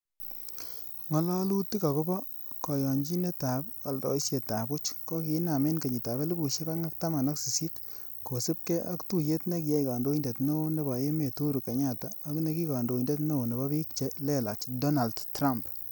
Ngalolutik agobo koyonyinetab oldoisietab buch kokinaam en kenyitab elfusiek oeng ak taman ak sisit, kosiibge ak tuyet nekiyai kondoindet neo nebo emet Uhuru Kenyatta ak neki kandoindet neo nebo bik che lelach, Donald Trump.